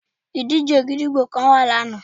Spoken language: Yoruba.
Ìdíje gídígbò kan wà lana